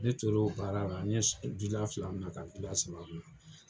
Ne toro baara la, n ye du da fila minɛ ka du da saba minɛ.